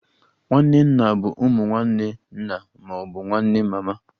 Nwanne nna bụ ụmụ nwanne nna ma ọ bụ nwanne mama